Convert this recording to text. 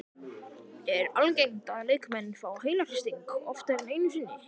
Er algengt að leikmenn fái heilahristing oftar en einu sinni?